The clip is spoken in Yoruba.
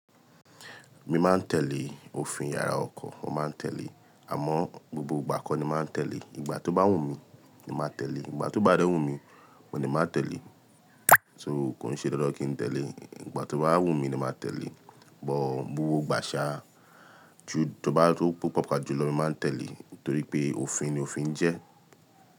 Mi máa ń tẹ̀lé òfin yàrá ọkọ̀, mo máa ń tẹ̀lé. Àmọ́ gbogbo ìgbà kọ́ ni máa ń tẹ̀lé. Ìgbà tó bá wù mí, mo máa tẹ̀lé, ìgbà tó bá dẹ̀ wù mi, mo lè má tẹ̀lé. So, kò ń ṣe dandan kí n tẹ̀lé ìgbà tó bá wù mí ni máa tẹ̀lé but gbogbo ìgbà ṣà á, tó bá tó pàápàá jùlọ ni mi máa ń tẹ̀lé torí pé òfin ni òfin ń jẹ́.